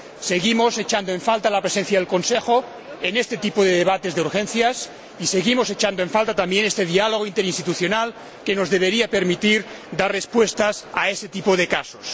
Seguimos echando en falta la presencia del Consejo en este tipo de debates de urgencias y seguimos echando en falta también este diálogo interinstitucional que nos debería permitir dar respuestas a ese tipo de casos.